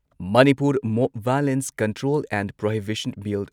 Manipur mob violence control and prohibition bill,